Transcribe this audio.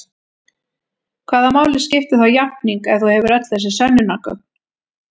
Hvaða máli skiptir þá játning ef þú hefur öll þessi sönnunargögn?